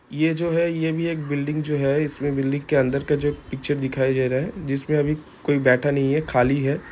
ये जो है ये भी एक बिल्डिंग जो है इसमे बिल्डिंग के अंदर का जो पिक्चर दिखाई दे रहा है इसमे अभी कोई बैठा नहीं है खाली है।